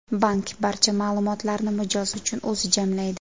Bank barcha ma’lumotlarni mijoz uchun o‘zi jamlaydi.